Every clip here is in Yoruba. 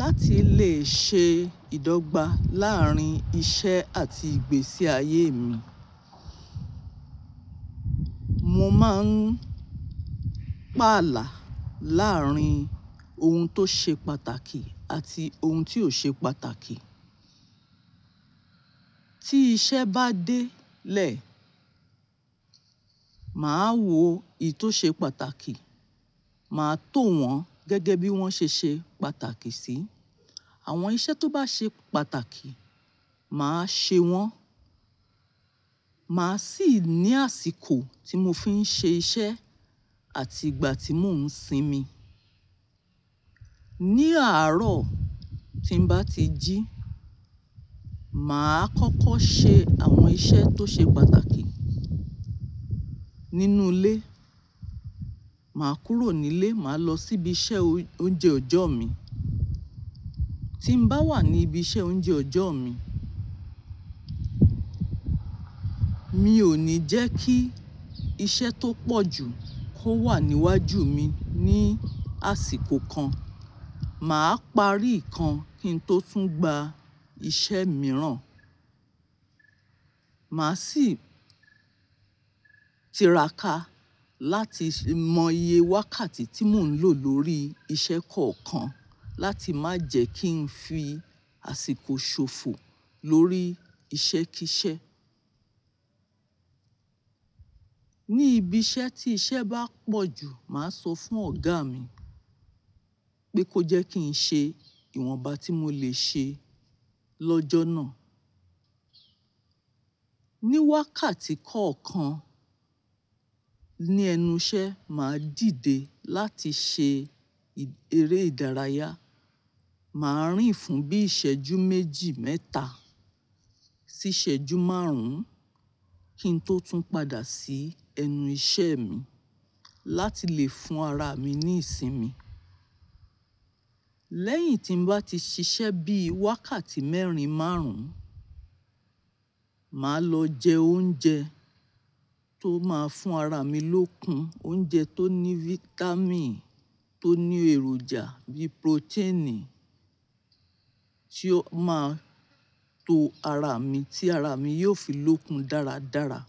Láti lè ṣe ìdọ́gba láàárín iṣẹ́ àti ìgbésí ayé mi, mo máa ń pààlà láàárín ohun tó ṣe pàtàkì àti ohun tí ò ṣe pàtàkì. Tí iṣẹ́ bá dé lè, màá wo èyí tó ṣe pàtàkì, màá tó wọn gẹ́gẹ́ bí wọ́n ṣe ṣe pàtàkì sí. Àwọn iṣẹ́ tó bá ṣe pàtàkì, màá ṣe wọ́n. Màá sì ní àsìkò tí mo fi ń ṣe iṣẹ́ àti ìgbà tí mò ń sinmi. Ni àárọ̀ tí ń bá ti jí, màá kọ́kọ́ ṣe àwọn iṣẹ́ tó ṣe pàtàkì. Nínú ilé, màá kúrò nílé, màá lọ sí ibi iṣẹ́ oúnjẹ ọjọ́ mi. Tí ń bá wà ní ibi iṣẹ́ oúnjẹ ọjọ́ mi, mi ò ní jẹ́ kí iṣẹ́ tó pọ̀jù kó wà níwájú mi ní àsìkò kan. Màá parí ìkan kí n tó tún gba iṣẹ́ mìíràn. Màá sì tiraka láti mọ iye wákàtí tí mò ń lò lórí iṣẹ́ kọ̀ọ̀kan láti má jẹ́ kí n fi àsìkò ṣòfò lórí iṣẹ́ kí iṣẹ́. Ní ibi iṣẹ́ tí iṣẹ́ bá pọ̀jù, màá sọ fún ọ̀gá mi pé kó jẹ́ kí n ṣe ìwọ̀nba tí mo lè ṣe lọ́jọ́ náà. Ní wákàtí kọ̀ọ̀kan ní ẹnu iṣẹ́, màá dìde láti ṣe eré ìdárayá. Màá rìn fún bí ìṣẹ́jú méjì, mẹ́ta sí ìṣẹ́jú márùn-ún kí n tó tún padà sí ẹnu iṣẹ́ mi láti lè fún ara mi ní ìsinmi. Lẹ́yìn tí ń bá ti ṣiṣẹ́ bí wákàtí mẹ́rin, márùn-ún, màá lọ jẹ oúnjẹ tó máa fún ara mi lókun. Oúnjẹ tó ní fítámìn, tó ní èròjà bí protein tí ó máa tó ara mi tí ara mi yóò fi lókun dáradára.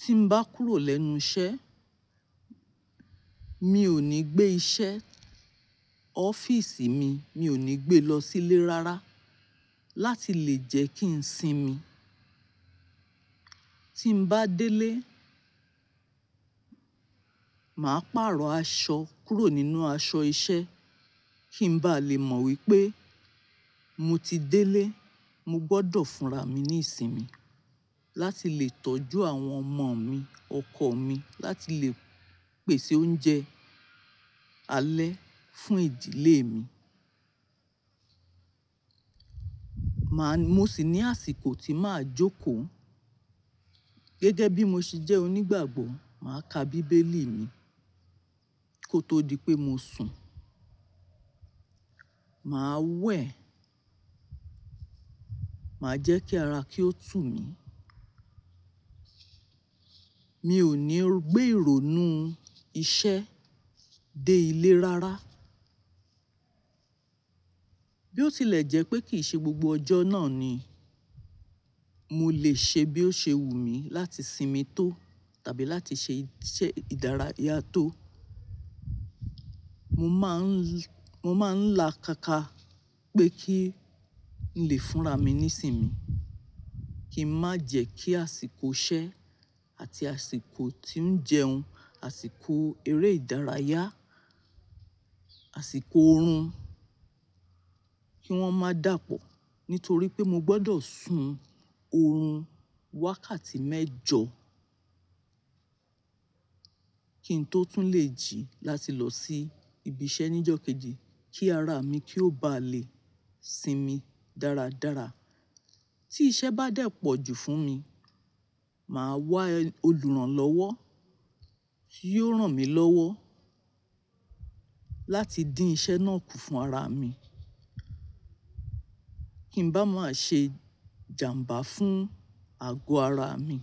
Tí ń bá kúrò lẹ́nu iṣẹ́, mi ò ní gbé iṣẹ́ ọ́fíìsì mi, mi ò ní gbé lọ sílé rárá láti lè jẹ́ kí n sinmi. Tí ń bá délé, màá pààrọ̀ aṣọ kúrò nínú aṣọ iṣẹ́ kí ń bá lè mọ̀ wípé mo ti délé. Mo gbọ́dọ̀ fúnra mi ní ìsinmi láti lè tọ́jú àwọn ọmọ mi, ọkọ mi, láti lè pèsè oúnjẹ alẹ́ fún ìdílé mi. Màá-- mo sì ní àsìkò tí màá jókòó. Gẹ́gẹ́ bí mo ṣe jẹ́ onígbàgbọ́, màá ka bíbélì mi kó tó di pé mo sùn. Màá wẹ̀, màá jẹ́ kí ara kí ó tù mí. Mi ò ní gbé ìrònú iṣẹ́ dé ilé rárá. Bí ó tilẹ̀ jẹ́ pé kì í ṣe gbogbo ọjọ́ náà ni mo lè ṣe bí ó ṣe wù mí láti sinmi tó tàbí láti ṣe iṣẹ́ ìdárayá tó, mo máa ń, mo máa ń la káká pé kí ń lè fúnra mi ní ìsinmi. Kí ń má jẹ́ kí àsìkò iṣẹ́ àti àsìkò tí ń jẹun, àsìkò eré ìdárayá, àsìkò ọ̀run kí wọ́n má dàpọ̀ nítorí pé mo gbọ́dọ̀ sùn ọ̀run wákàtí mẹ́jọ kí n tó tún lè jí láti lọ sí ibi iṣẹ́ ní ìjọ́ kejì kí ara mi kì ó bá lè sinmi dáradára. Tí iṣẹ́ bá dẹ̀ pọ̀jù fún mi, màá wá olùrànlọ́wọ́ kí ó ràn mí lọ́wọ́ láti dín iṣẹ́ náà kù fún ara mi kí ń bá má ṣe jàmbá fún àgọ́ ara mi.